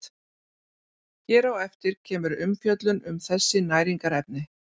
Hér á eftir kemur umfjöllun um þessi næringarefni.